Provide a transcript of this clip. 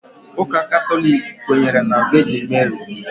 Ụka Katọlik kwenyere na Vejin Meri